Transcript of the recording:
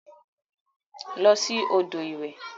Losi odo iwe.